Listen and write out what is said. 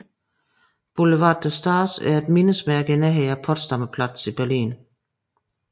Boulevard der Stars er et mindesmærke i nærheden af Potsdamer Platz i Berlin